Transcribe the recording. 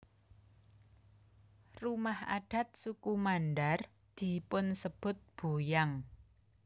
Rumah adat suku Mandar dipunsebut boyang